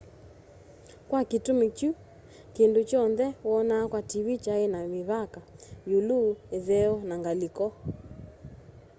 kwa kitumi kiu kindu kyonthe wonaa kwa tv kyai na mivaka iulu itheo na ngaliko